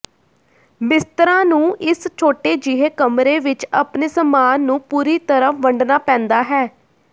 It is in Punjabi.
ਮਿਸਟਰਾਂ ਨੂੰ ਇਸ ਛੋਟੇ ਜਿਹੇ ਕਮਰੇ ਵਿਚ ਆਪਣੇ ਸਾਮਾਨ ਨੂੰ ਪੂਰੀ ਤਰ੍ਹਾਂ ਵੰਡਣਾ ਪੈਂਦਾ ਹੈ